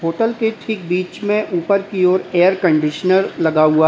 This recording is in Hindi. होटल के ठीक बीच में ऊपर की ओर एयर कंडीशनर लगा हुआ है।